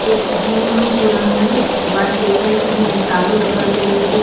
એક જૂનું પુરાણું કબાટ દેખાય સે જેને તાળું લગાવેલું છે.